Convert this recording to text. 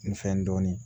N fɛn dɔɔni